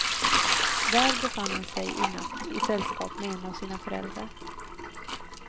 Där befann hon sig i natt i sällskap med en av sina föräldrar.